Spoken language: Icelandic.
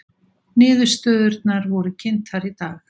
Niðurstöðurnar voru kynntar í dag